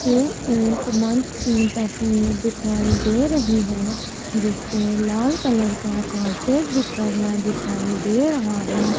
ये एक मंच की तस्वीर दिखाई दे रही है जिस पे लाल कलर का कारपेट बिछा हुआ दिखाई दे रहा है।